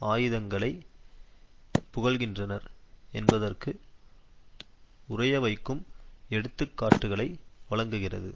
ஆயுதங்களை புகழ்கின்றனர் என்பதற்கு உறையவைக்கும் எடுத்து காட்டுக்களை வழங்குகிறது